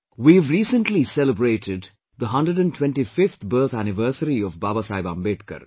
We have recently celebrated 125th birth anniversary of Baba Saheb Ambedkar